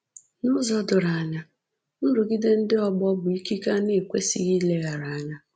N’ụzọ doro anya, nrụgide ndị ọgbọ bụ ikike a na-ekwesịghị ileghara anya